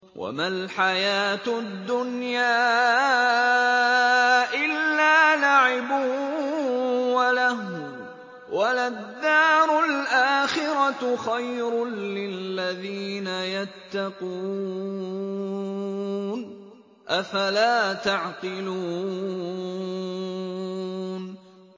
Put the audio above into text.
وَمَا الْحَيَاةُ الدُّنْيَا إِلَّا لَعِبٌ وَلَهْوٌ ۖ وَلَلدَّارُ الْآخِرَةُ خَيْرٌ لِّلَّذِينَ يَتَّقُونَ ۗ أَفَلَا تَعْقِلُونَ